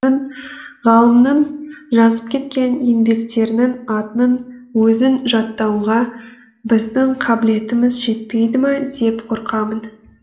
ғалымның жазып кеткен еңбектерінің атының өзін жаттауға біздің қабілетіміз жетпейді ма деп қорқамын